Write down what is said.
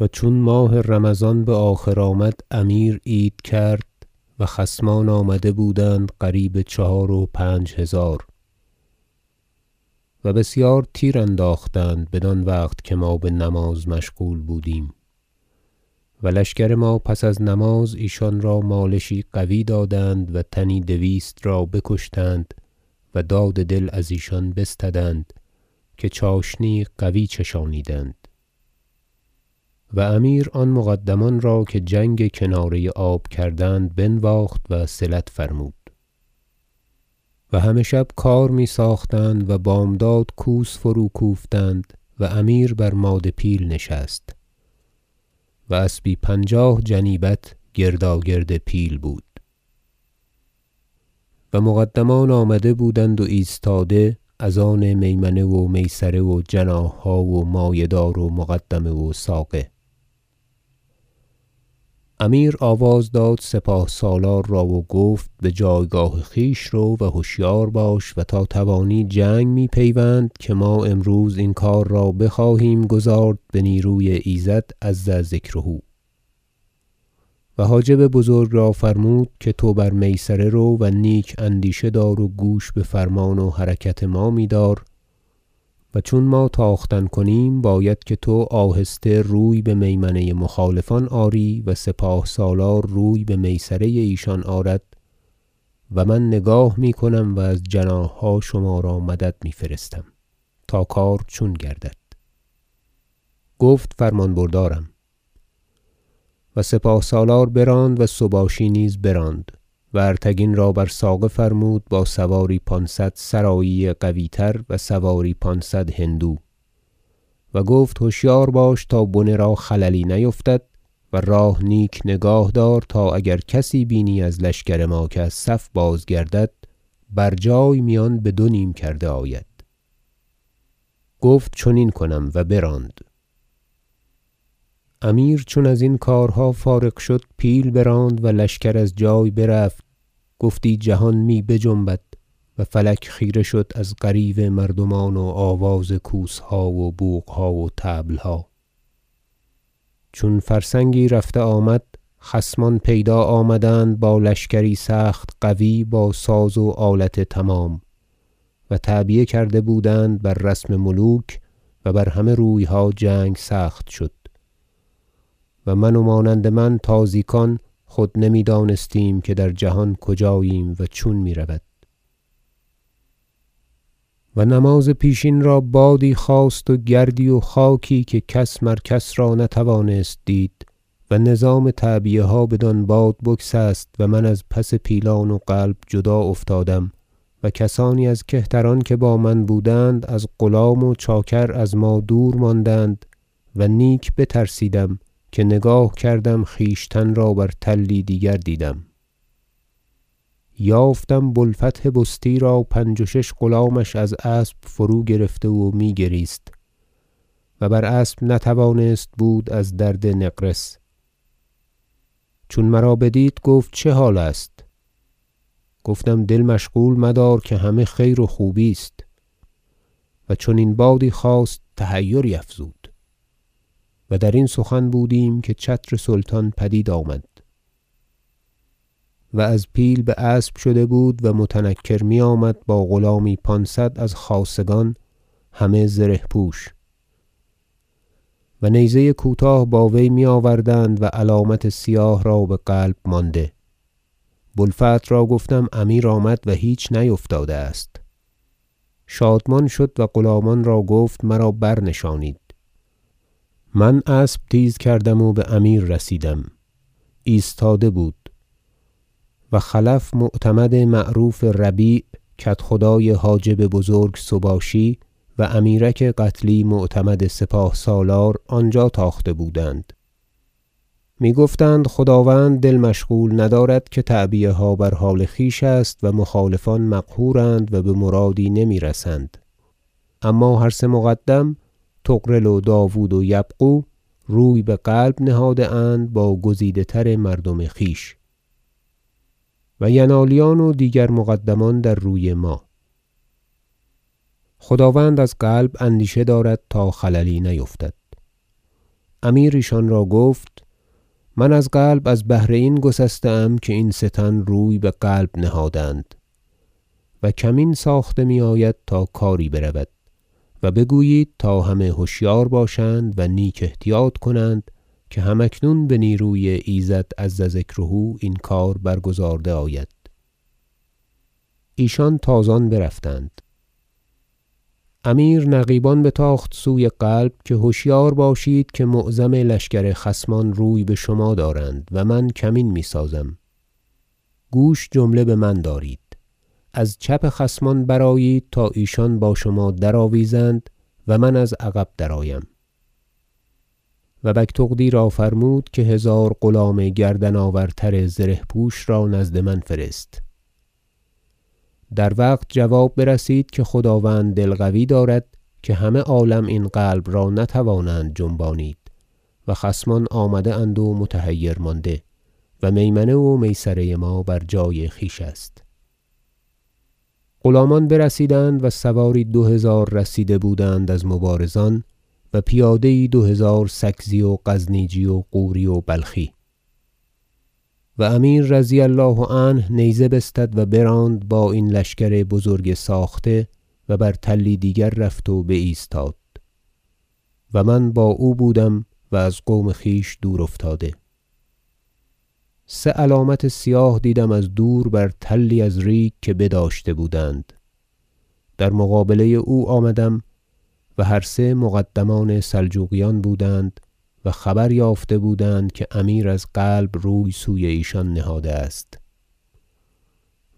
و چون ماه رمضان بآخر آمد امیر عید کرد و خصمان آمده بودند قریب چهار و پنج هزار و بسیار تیر انداختند بدان وقت که ما بنماز مشغول بودیم و لشکر ما پس از نماز ایشان را مالشی قوی دادند و تنی دویست را بکشتند و داد دل ازیشان بستدند که چاشنی یی قوی چشانیدند و امیر آن مقدمان را که جنگ کناره آب کردند بنواخت وصلت فرمود و همه شب کار میساختند و بامداد کوس فرو کوفتند و امیر بر ماده پیل نشست و اسبی پنجاه جنیبت گرداگرد پیل بود و مقدمان آمده بودند و ایستاده از آن میمنه و میسره و جناحها و مایه دار و مقدمه و ساقه امیر آواز داد سپاه سالار را و گفت بجایگاه خویش رو و هشیار باش و تا توانی جنگ مپیوند که ما امروز این کار بخواهیم گزارد به نیروی ایزد عز ذکره و حاجب بزرگ را فرمود که تو بر میسره رو و نیک اندیشه دار و گوش بفرمان و حرکت ما میدار و چون ما تاختن کنیم باید که تو آهسته روی بمیمنه مخالفان آری و سپاه سالار روی بمیسره ایشان آرد و من نگاه میکنم و از جناحها شما را مدد میفرستم تا کار چون گردد گفت فرمان بردارم و سپاه سالار براند و سباشی نیز براند و ارتگین را بر ساقه فرمود با سواری پانصد سرایی قوی تر و سواری پانصد هندو و گفت هشیار باش تا بنه را خللی نیفتد و راه نیک نگاه دار تا اگر کسی بینی از لشکر ما که از صف بازگردد بر جای میان بدو نیم کرده آید گفت چنین کنم و براند امیر چون ازین کارها فارغ شد پیل براند و لشکر از جای برفت گفتی جهان می بجنبد و فلک خیره شد از غریو مردمان و آواز کوسها و بوقها و طبلها چون فرسنگی رفته آمد خصمان پیدا آمدند با لشکری سخت قوی با ساز و آلت تمام و تعبیه کرده بودند بر رسم ملوک و بر همه رویها جنگ سخت شد و من و مانند من تازیکان خود نمیدانستیم که در جهان کجاییم و چون میرود و نماز پیشین را بادی خاست و گردی و خاکی که کس مر کس را نتوانست دید و نظام تعبیه ها بدان باد بگسست و من از پس پیلان و قلب جدا افتادم و کسانی از کهتران که با من بودند از غلام و چاکر از ما دور ماندند و نیک بترسیدم که نگاه کردم خویشتن را بر تلی دیگر دیدم یافتم بو الفتح بستی را پنج و شش غلامش از اسب فروگرفته و میگریست و بر اسب نتوانست بود از درد نقرس چون مرا بدید گفت چه حال است گفتم دل مشغول مدار که همه خیر و خوبی است و چنین بادی خاست و تحیری افزود و درین سخن بودیم که چتر سلطان پدید آمد و از پیل باسب شده بود و متنکر میآمد با غلامی پانصد از خاصگان همه زره پوش و نیزه کوتاه با وی میآوردند و علامت سیاه را بقلب مانده بو الفتح را گفتم امیر آمد و هیچ نیفتاده است شادمان شد و غلامان را گفت مرا برنشانید من اسب تیز کردم و بامیر رسیدم ایستاده بود و خلف معتمد معروف ربیع کدخدای حاجب بزرگ سباشی و امیرک قتلی معتمد سپاه سالار آنجا تاخته بودند میگفتند خداوند دل مشغول ندارد که تعبیه ها بر حال خویش است و مخالفان مقهورند و بمرادی نمیرسند اما هر سه مقدم طغرل و داود و یبغو روی بقلب نهاده اند با گزیده تر مردم خویش و ینالیان و دیگر مقدمان در روی ما خداوند از قلب اندیشه دارد تا خللی نیفتد امیر ایشان را گفت من از قلب از بهر این گسسته ام که این سه تن روی بقلب نهادند و کمین ساخته میآید تا کاری برود و بگویید تا همه هشیار باشند و نیک احتیاط کنند که هم اکنون به نیروی ایزد عز و جل این کار برگزارده آید ایشان تازان برفتند امیر نقیبان بتاخت سوی قلب که هشیار باشید که معظم لشکر خصمان روی بشما دارند و من کمین میسازم گوش بجمله بمن دارید از چپ خصمان برآیید تا ایشان با شما درآویزند و من از عقب درآیم و بگتغدی را فرمود که هزار غلام گردن آورتر زره پوش را نزد من فرست در وقت جواب برسید که خداوند دل قوی دارد که همه عالم این قلب را نتوانند جنبانید و خصمان آمده اند و متحیر مانده و میمنه و میسره ما بر جای خویش است غلامان برسیدند و سواری دو هزار رسیده بود از مبارزان و پیاده یی دو هزار سکزی و غزنیچی و غوری و بلخی و امیر رضی الله عنه نیزه بستد و براند با این لشکر بزرگ ساخته و بر تلی دیگر رفت و بایستاد و من با او بودم و از قوم خویش دور افتاده سه علامت سیاه دیدم از دور بر تلی از ریگ که بداشته بودند در مقابله او آمدم و هر سه مقدمان سلجوقیان بودند و خبر یافته بودند که امیر از قلب روی سوی ایشان نهاده است